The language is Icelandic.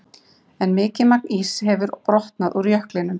En mikið magn íss hefur brotnað upp úr jöklinum.